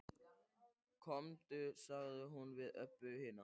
Komdu, sagði hún við Öbbu hina.